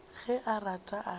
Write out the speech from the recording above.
ge a rata a ka